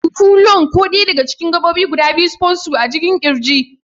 huhu. [lŭng] Ko dai daga cikin gabobin spongy guda biyu a cikin kirji.